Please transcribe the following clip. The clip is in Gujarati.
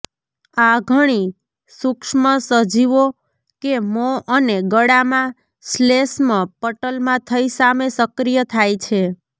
આ ઘણી સુક્ષ્મસજીવો કે મોં અને ગળામાં શ્લેષ્મ પટલમાં થઇ સામે સક્રિય થાય છે